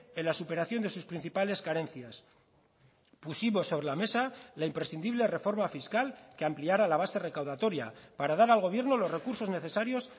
en la superación de sus principales carencias pusimos sobre la mesa la imprescindible reforma fiscal que ampliara la base recaudatoria para dar al gobierno los recursos necesarios